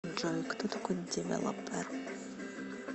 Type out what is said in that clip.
джой кто такой девелопер